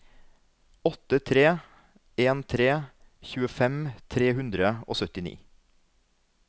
åtte tre en tre tjuefem tre hundre og syttini